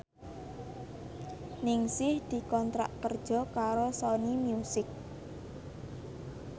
Ningsih dikontrak kerja karo Sony Music